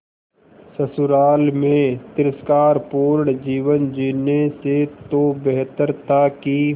ससुराल में तिरस्कार पूर्ण जीवन जीने से तो बेहतर था कि